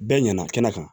Bɛɛ ɲɛna kɛnɛ kan